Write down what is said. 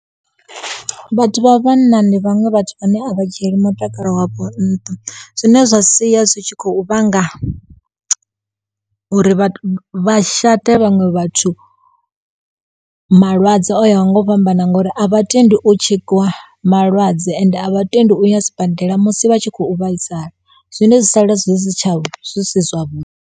Vhathu vha vhanna ndi vhaṅwe vhathu vhane a vha dzhieli mutakalo wavho nnṱha zwine zwa sia zwi tshi khou vhanga uri vha vha shate vhaṅwe vhathu malwadze o ya ho ngo u fhambana ngori a vhatendi u tshekiwa malwadze ende a vha tendi u ya sibadela musi vha tshi khou vhaisala zwine zwi sala zwi si tsha vho zwi si zwa vhuḓi.